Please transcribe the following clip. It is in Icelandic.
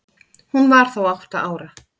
Hún var þá átta ára.